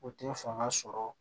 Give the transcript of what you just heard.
O tɛ fanga sɔrɔ